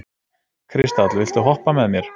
Kristall, viltu hoppa með mér?